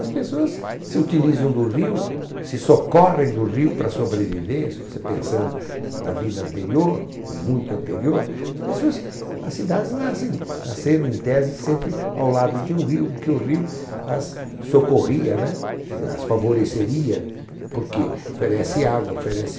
As pessoas se utilizam do rio, se socorrem do rio para sobreviver, se você pensando na vida anterior, ou muito anterior, as pessoas, as cidades nascem nasceram em tese sempre ao lado de um rio, porque o rio as socorria, né? Eh, as favoreceria, porque oferece água, oferece...